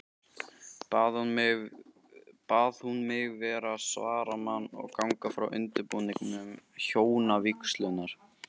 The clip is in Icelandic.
Bað hún mig vera svaramann og ganga frá undirbúningi hjónavígslunnar.